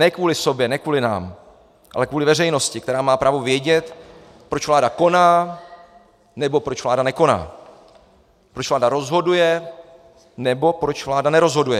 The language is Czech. Ne kvůli sobě, ne kvůli nám, ale kvůli veřejnosti, která má právo vědět, proč vláda koná, nebo proč vláda nekoná, proč vláda rozhoduje, nebo proč vláda nerozhoduje.